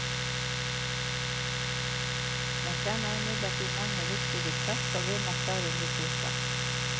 Man kjenner imidlertid mange viktige trekk og vinner stadig ny kunnskap.